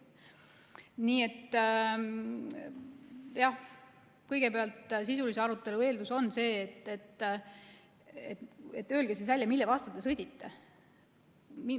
Nii et jah, kõigepealt sisulise arutelu eeldus on see, et öelge siis välja, mille vastu sõdite.